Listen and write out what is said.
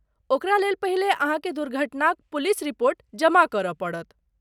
ओकरा लेल पहिले अहाँके दुर्घटनाक पुलिस रिपोर्ट जमा करय पड़त।